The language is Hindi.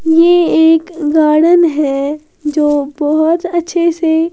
ये एक गार्डन है जो बहुत अच्छे से--